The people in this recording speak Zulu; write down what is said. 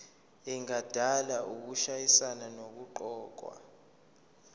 engadala ukushayisana nokuqokwa